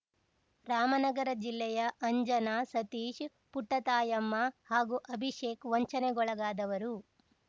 ರಾಮನಗರ ಜಿಲ್ಲೆಯ ಅಂಜನಾ ಸತೀಶ್‌ ಪುಟ್ಟತಾಯಮ್ಮ ಹಾಗೂ ಅಭಿಷೇಕ್‌ ವಂಚನೆಗೊಳಗಾದವರು